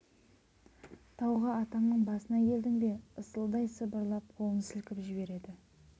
тауға атаңның басына келдің бе ысылдай сыбырлап қолын сілкіп жібереді